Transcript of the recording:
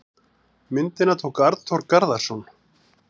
Myndina tók Arnþór Garðarsson.